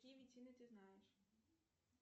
ты знаешь